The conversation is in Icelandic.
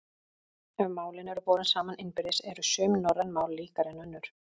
Ef málin eru borin saman innbyrðis eru sum norræn mál líkari en önnur.